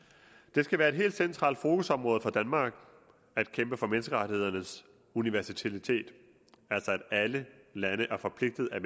det skal være et helt centralt fokusområde for danmark at kæmpe for menneskerettighedernes universalitet altså at alle lande er forpligtet af